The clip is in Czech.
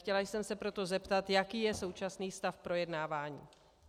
Chtěla jsem se proto zeptat, jaký je současný stav projednávání.